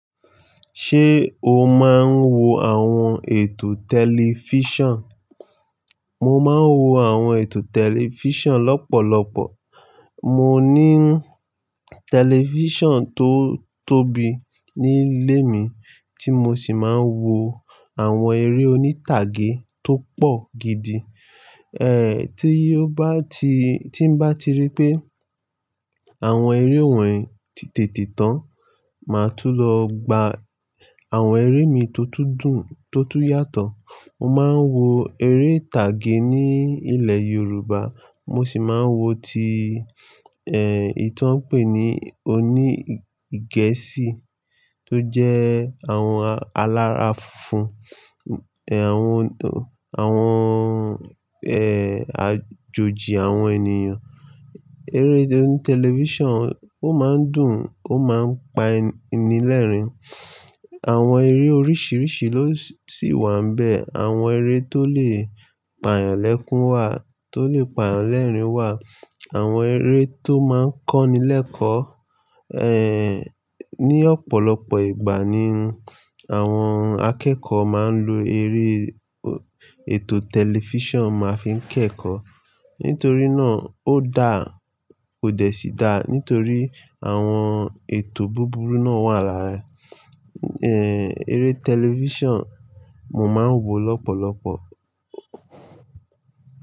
Ṣé o máa ń wo àwọn ètò tẹlifíṣàn? Mo máa ń wo àwọn ètò tẹlifíṣàn lọ́pọ̀lọpọ̀. Mo ní tẹlifíṣàn tó tóbi nílé mi tí mo sì máa ń wo àwọn eré oní tàgé tó pọ̀ gidi. Tí o bá ti tí mbá ti rí pé àwọn eré wọ́n ti tètè tán, màá tún lọ gba àwọn eré mi tó tún dùn, tó tún yàtọ̀. Mo máa ń wo eré tàgé ní ilẹ̀ Yorùbá. Mo sì máa ń wo ti, eyìti won n pè ní oní Gẹ̀ẹ́sì tó jẹ́ àwọn alára fun, àwọn, àwọn, àjòjì àwọn ènìyàn. Eré oní tẹlifíṣàn ó máa ń dùn, ó máa ń pa ni lẹ́rìn-ín. Àwọn eré oríṣiríṣi ló sì wà n'bẹ́ẹ̀. Àwọn eré tó lè pa eyàn lékún wà, tó lè pa ìyànlérìn-ín wà. Àwọn eré tó máa ń kọ́nilẹ́kọ̀ọ́, ní ọ̀pọ̀lọpọ̀ ìgbà ni àwọn akẹ́kọ̀ọ́ máa ń lo eré ètò tẹlifíṣàn máa fi ń kẹ́kọ̀ọ́. Nítorí náà ó dáa, kó dẹ̀ síí dáa. Nítorí àwọn ètò búburú náà wà lára, eré tẹlifíṣàn mo máa ń wo lọ́pọ̀lọpọ̀.